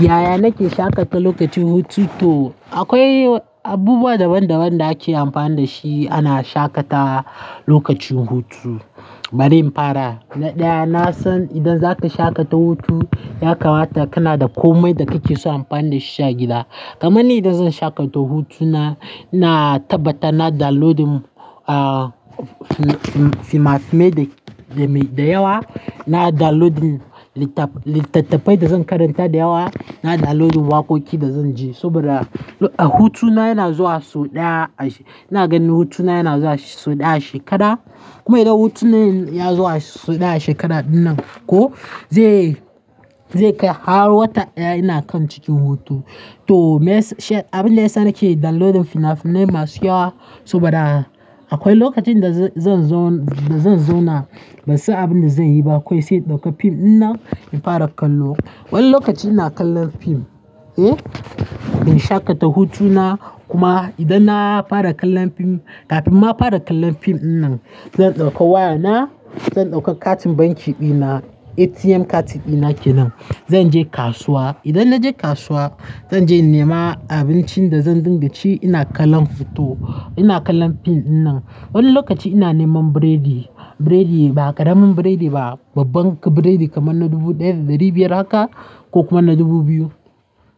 Yaya nake shaƙata lokacin hutu? To akwai abubuwa daban-daban da ake amfani da shi ana shaƙatawa lokacin hutu. Bari in fara, na ɗaya na san idan zaka shaƙata hutu ya kamata kana da komai da kake so amfani da shi sha gida. Kamanni idan zan shaƙata hutuna, ina tabbata na downloadin ah fim-fimai da da yawa, na downloadin littattafai da zan karanta da yawa, na downloadin waƙoƙi da zan ji. Saboda hutuna yana zuwa sau ɗaya, ina ganin hutuna yana zuwa sau ɗaya a shekara. Kuma idan hutuna yazo sau ɗaya a shekarar dinnan ko, zai har wata ɗaya ina kan cikin hutu. To abin da ya sa nake downloadin fina-finai masu yawa saboda akwai lokacin da zan zo, da zan zo na ba sai abin da zan yi ba. Akwai sai ɗauka fim dinnan in fara kallo. Wani lokaci ina kallon fim eh in shaƙata hutuna. Kuma idan na fara kallon fim kafin ma fara kallon fim dinnan, zan ɗauka wayana, zan ɗauka katin banki dina, ATM katin dina kenan. Zan je kasuwa, idan na je kasuwa zan je in nema abincin da zan dinga ci ina kallon fito, ina kallon fim dinnan. Wani lokaci ina neman biredi, biredi ba ƙaramin biredi ba, babban biredi kamar na dubu ɗaya da ɗari biyar haka ko kuma na dubu biyu.